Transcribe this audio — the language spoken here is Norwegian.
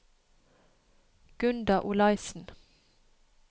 Gunda Olaisen